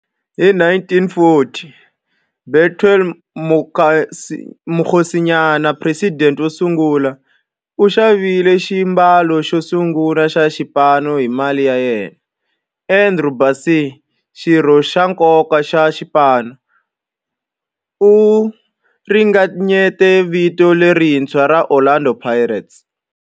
Hi 1940, Bethuel Mokgosinyane, president wosungula, u xavile xiambalo xosungula xa xipano hi mali ya yena. Andrew Bassie, xirho xa nkoka xa xipano, u ringanyete vito lerintshwa ra 'Orlando Pirates'.